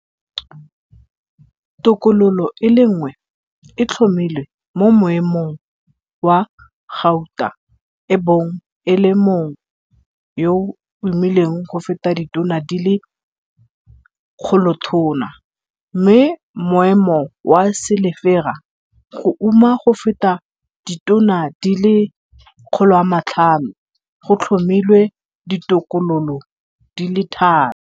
Tokololo e le nngwe e tlhomilwe mo moemomg wa gauta e bong e le mongwe yoa umileng go feta ditone di le 1 000, mme moemo wa selefara, go uma go feta ditone di le 500, go tlhomilwe ditokololo di le tharo.